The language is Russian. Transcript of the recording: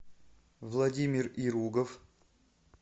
владимир иругов